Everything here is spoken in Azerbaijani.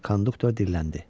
Konduktor dilləndi.